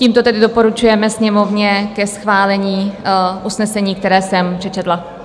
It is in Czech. Tímto tedy doporučujeme Sněmovně ke schválení usnesení, které jsem přečetla.